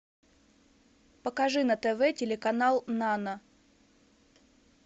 покажи на тв телеканал нано